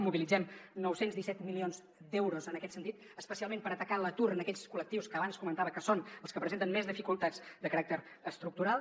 mobilitzem nou cents i disset milions d’euros en aquest sentit especialment per atacar l’atur en aquests col·lectius que abans comentava que són els que presenten més dificultats de caràcter estructural